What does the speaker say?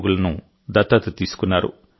రోగులను దత్తత తీసుకున్నారు